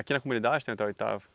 Aqui na comunidade tem até oitavo?